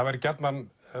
væri